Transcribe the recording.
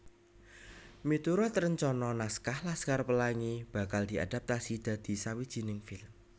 Miturut rencana naskah Laskar Pelangi bakal diadaptasi dadi sawijining film